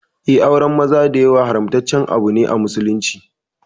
Eh, auren maza da yawa haramtaccene a musulunci.